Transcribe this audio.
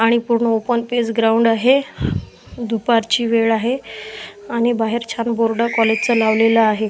आणि पूर्ण open space ground आहे दुपारची वेळ आहे आणि बाहेर छान बोर्ड कॉलेज चा लावलेला आहे.